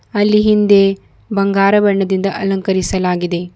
ಅಲ್ಲಿ ಹಿಂದೆ ಬಂಗಾರ ಬಣ್ಣದಿಂದ ಅಲಂಕರಿಸಲಾಗಿದೆ.